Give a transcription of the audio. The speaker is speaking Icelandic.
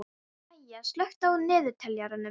Maya, slökktu á niðurteljaranum.